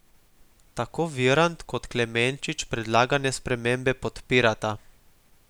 Tako Virant kot Klemenčič predlagane spremembe podpirata.